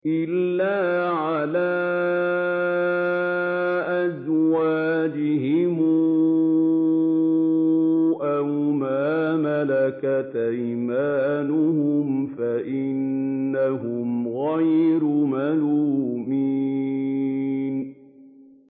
إِلَّا عَلَىٰ أَزْوَاجِهِمْ أَوْ مَا مَلَكَتْ أَيْمَانُهُمْ فَإِنَّهُمْ غَيْرُ مَلُومِينَ